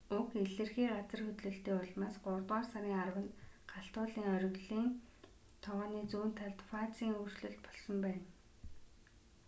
уг илэрхий газар хөдлөлтийн улмаас гуравдугаар сарын 10-нд галт уулын оргилын тогооны зүүн хойд талд фазын өөрчлөлт болсон байна